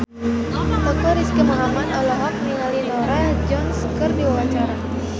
Teuku Rizky Muhammad olohok ningali Norah Jones keur diwawancara